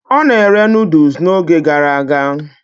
Ọ na-ere Nụ́dúls n'oge gara aga